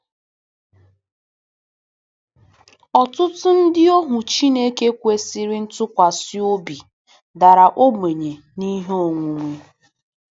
Ọtụtụ ndị ohu Chineke kwesịrị ntụkwasị obi dara ogbenye n'ihe onwunwe.